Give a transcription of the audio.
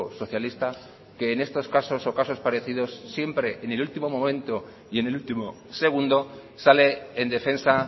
socialista que en estos casos o casos parecidos siempre en el último momento y en el último segundo sale en defensa